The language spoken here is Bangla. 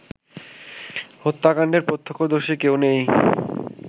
হত্যাকাণ্ডের প্রত্যক্ষদর্শী কেউ নেই